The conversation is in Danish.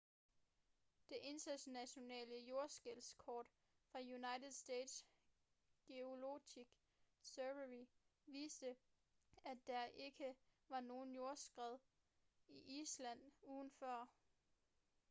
det internationale jordskælvskort fra united states geological survey viste at der ikke var nogen jordskælv i island ugen før